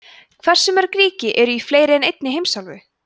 hversu mörg ríki eru í fleiri en einni heimsálfu